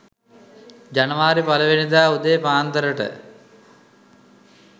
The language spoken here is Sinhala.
ජනවාරි පලමුවෙනිදා උදේ පාන්දර ට